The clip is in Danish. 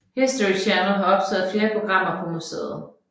History Channel har optaget flere programmer på museet